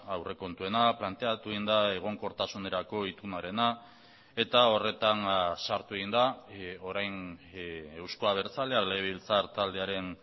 aurrekontuena planteatu egin da egonkortasunerako itunarena eta horretan sartu egin da orain euzko abertzalea legebiltzar taldearen